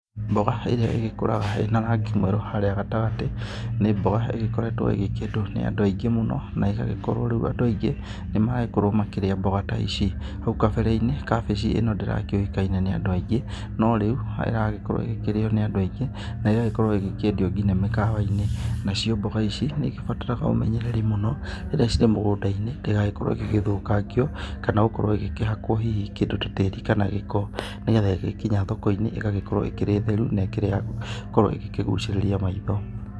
Mboga ĩrĩa ĩgĩkũraga ĩna rangi mwerũ haríĩ gatagatĩ, nĩ mboga ĩgĩkoretwo ĩgĩkĩendwo nĩ andũ aingĩ mũno, na ĩgagĩkorwo rĩu andũ aingĩ nĩ maragĩkorwo makĩrĩa mboga ta ici. Hau kabere-inĩ, kabĩci ĩno ndĩrakĩuĩkaine nĩ andũ aingĩ, no rĩu ĩragĩkorwo ĩgĩkĩrĩo nĩ andũ aingĩ, na ĩgagĩkorwo ĩkĩendio ngĩna mĩkawa-inĩ. Nacio mboga ici nĩ igĩbataraga ũmenyereri mũno rĩrĩa cirĩ mũgũnda-inĩ, ndĩgagĩkorwo ĩgĩgĩthũkangio, kana gũkorwo ĩgĩkĩhakwo hihi kĩndũ ta tĩri, kana gĩko, nĩgetha ĩgĩkinya thoko-inĩ ĩgagĩkorwo ĩkĩrĩ theru, na ĩkĩrĩ ya gũgĩkorwo ĩgĩkĩgucĩrĩria maitho.